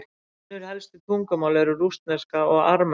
önnur helstu tungumál eru rússneska og armenska